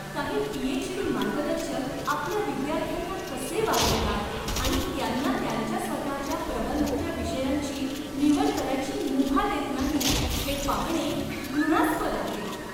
काही पी.एच.डी. मार्गदर्शक आपल्या विद्यार्थ्यांना कसे वागवतात आणि त्यांना त्यांच्या स्वतःच्या प्रबंधाच्या विषयांची निवड करायची मुभा देत नाहीत हे पाहणे घृणास्पद आहे.